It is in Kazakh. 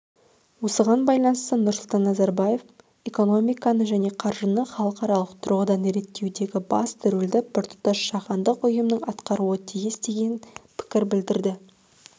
осыған байланысты нұрсұлтан назарбаев экономиканы және қаржыны халықаралық тұрғыдан реттеудегі басты рөлді біртұтас жаһандық ұйымның атқаруы тиіс деген пікір білдірді